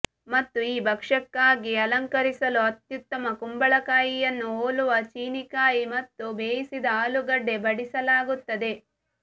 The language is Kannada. ಮತ್ತು ಈ ಭಕ್ಷ್ಯಕ್ಕಾಗಿ ಅಲಂಕರಿಸಲು ಅತ್ಯುತ್ತಮ ಕುಂಬಳಕಾಯಿಯನ್ನು ಹೋಲುವ ಚೀನೀಕಾಯಿ ಮತ್ತು ಬೇಯಿಸಿದ ಆಲೂಗಡ್ಡೆ ಬಡಿಸಲಾಗುತ್ತದೆ